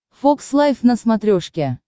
фокс лайв на смотрешке